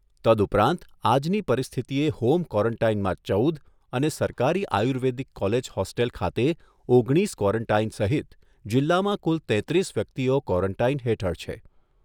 તદઉપરાંત આજની પરિસ્થિતિએ હોમ ક્વોરન્ટાઇનમાં ચૌદ અને સરકારી આયુર્વેદિક કોલેજ હોસ્ટેલ ખાતે ઓગણીસ ક્વોરન્ટાઇન સહિત જિલ્લામાં કુલ તેત્રીસ વ્યક્તિઓ ક્વોરન્ટાઇન હેઠળ છે